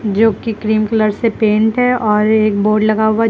जोकि cream colour से paint है और एक बोर्ड लगा हुआ है जिसपे--